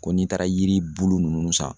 Ko n'i taara yiribulu nunnu san